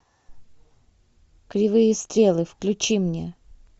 кривые стрелы включи мне